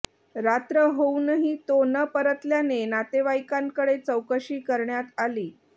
रात्र होउनही तो न परतल्याने नातेवाईकांकडे चौकशी करण्यात आली